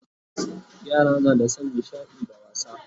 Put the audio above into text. Yara na da San nishaɗi da wasa